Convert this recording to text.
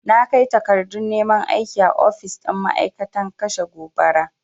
Na kai takardun neman aiki a ofis ɗin ma'aikatan kashe gobara.